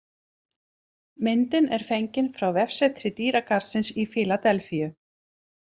Myndin er fengin frá vefsetri dýragarðsins í Fíladelfíu